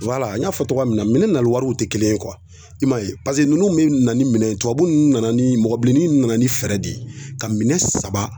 n y'a fɔ cogoya min na minɛn nali wariw tɛ kelen ye i man ye ninnu bɛ na ni minɛn tubabu ninnu nana ni mɔgɔbilennin nana ni fɛɛrɛ de ye ka minɛn saba